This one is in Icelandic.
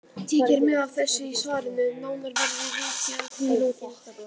Tekið er mið af þessu í svarinu en nánar verður vikið að því í lokin.